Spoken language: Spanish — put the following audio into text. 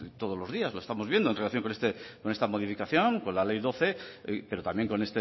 todos los días lo estamos viendo en relación con esta modificación con la ley doce pero también con